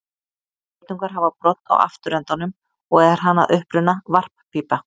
Geitungar hafa brodd á afturendanum og er hann að uppruna varppípa.